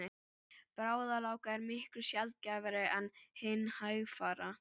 Bráðagláka er miklu sjaldgæfari en hin hægfara.